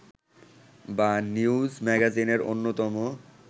বা নিউজ ম্যাগাজিনের অন্যতম